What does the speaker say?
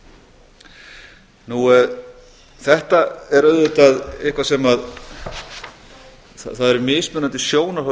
í lýðræðissamfélagi þetta er auðvitað eitthvað sem það eru mismunandi sjónarhorn